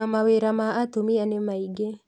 Na mawĩra ma atumia ni maingĩ